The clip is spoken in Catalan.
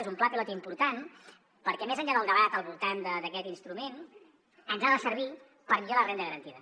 és un pla pilot important perquè més enllà del debat al voltant d’aquest instrument ens ha de servir per millorar la renda garantida